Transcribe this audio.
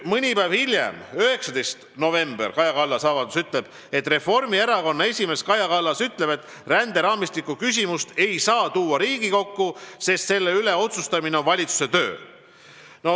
Mõni päev hiljem, 19. novembril, öeldi Reformierakonna esimehe Kaja Kallase avalduses, et ränderaamistiku küsimust ei saa Riigikokku tuua, sest selle üle otsustamine on valitsuse töö.